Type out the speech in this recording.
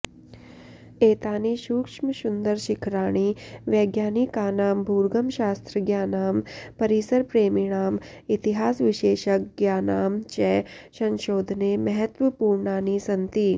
एतानि सूक्ष्मसुन्दरशिखराणि वैज्ञानिकानां भूगर्भशास्त्रज्ञानां परिसरप्रेमिणाम् इतिहासविशेषज्ञानां च संशोधने महत्वपूर्णानि सन्ति